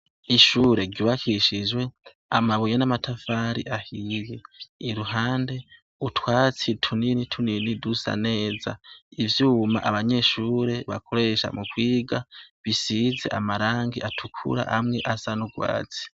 Ishure ryubakishijwe amabuye n'amatafari ahiye. Iruhande, utwatsi tunini tunini dusa neza, ivyuma abanyeshure bakoresha mukwiga bisize amarangi atukura, amwe asa n'urwatsi.